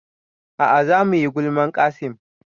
A'a za muyi gulman Qassim